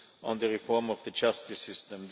on the reform of the justice system.